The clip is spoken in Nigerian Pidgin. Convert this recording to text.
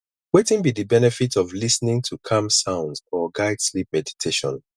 wetin be di benefit of lis ten ing to calm sounds or guide sleep meditation